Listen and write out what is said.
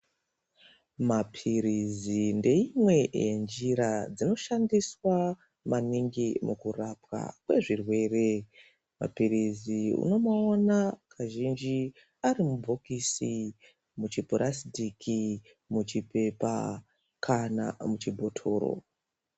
Mapilizi ngeimwe yenjira dzinoshandiswa maningi mukurapa kwezvirwere, mapilizi unomaona kazhinji arimubhokisi, muchipulasitiki, muchipepa kana muchibhotoro.